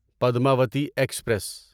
Padmavati express